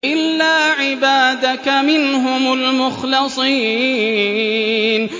إِلَّا عِبَادَكَ مِنْهُمُ الْمُخْلَصِينَ